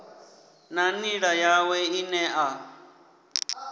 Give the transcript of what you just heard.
na nḓila yawe ine a